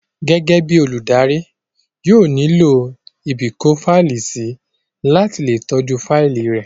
Gẹ́gẹ́ bíi olùdarí, yóò nílò ibìkófáìlì sí láti le tọ́jú fáìlì rẹ̀